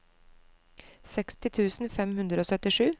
seksti tusen fem hundre og syttisju